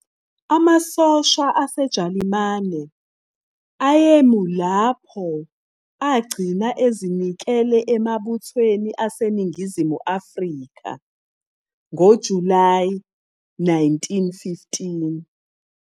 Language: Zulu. Amasosha aseJalimane ayemi lapho agcina ezinikele emabuthweni aseNingizimu Afrika ngoJulayi 1915.